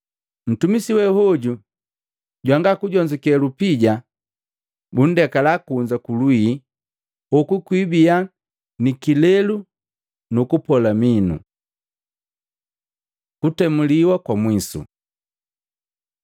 Ntumisi wehoju jwangakujonzuke lupija! Mundekala kunza kulwii! Hoku kwiibiya ni kilelu nu kupola minu.’ ” Kutemuliwa kwa mwisu